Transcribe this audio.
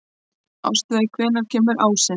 Ástveig, hvenær kemur ásinn?